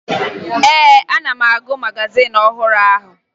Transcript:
Ee, ana m agụ magazin ọhụrụ ahụ